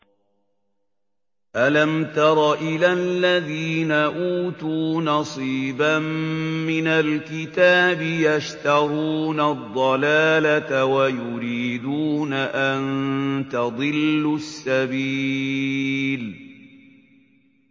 أَلَمْ تَرَ إِلَى الَّذِينَ أُوتُوا نَصِيبًا مِّنَ الْكِتَابِ يَشْتَرُونَ الضَّلَالَةَ وَيُرِيدُونَ أَن تَضِلُّوا السَّبِيلَ